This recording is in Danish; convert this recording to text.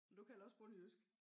Du kalder også bondejysk